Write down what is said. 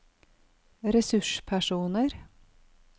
ressurspersoner